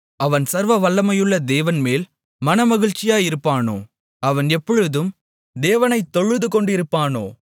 அவன் சர்வவல்லமையுள்ள தேவன் மேல் மனமகிழ்ச்சியாயிருப்பானோ அவன் எப்பொழுதும் தேவனைத் தொழுதுகொண்டிருப்பானோ